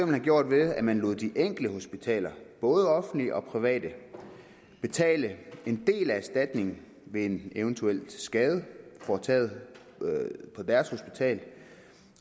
have gjort ved at man lod de enkelte hospitaler både offentlige og private betale en del af erstatningen ved en eventuel skade forvoldt på deres hospital